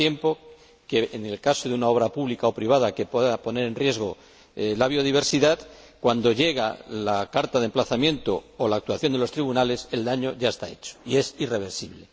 tanto tiempo que, en el caso de una obra pública o privada que pueda poner en riesgo la biodiversidad, cuando llega la carta de emplazamiento o la actuación de los tribunales, el daño ya está hecho y es irreversible.